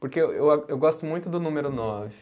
Porque eu a, eu gosto muito do número nove.